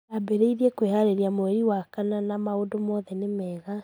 Ndabereirie kwehareria mweri wa kana na maũndu mothe nĩ mega.